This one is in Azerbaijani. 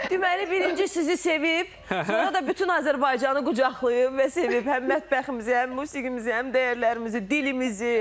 Deməli, birinci sizi sevib, sonra da bütün Azərbaycanı qucaqlayıb və sevib həm mətbəximizi, həm musiqimizi, həm dəyərlərimizi, dilimizi.